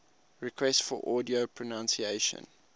requests for audio pronunciation